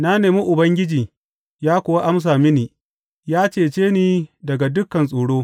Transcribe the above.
Na nemi Ubangiji, ya kuwa amsa mini; ya cece ni daga dukan tsoro.